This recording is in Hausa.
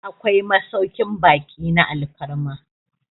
akwai masaukin baki na alfarma